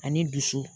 Ani dusu